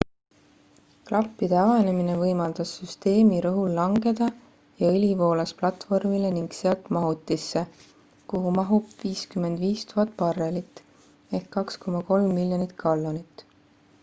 klappide avanemine võimaldas süsteemi rõhul langeda ja õli voolas platvormile ning sealt mahutisse kuhu mahub 55 000 barrelit 2,3 miljonit gallonit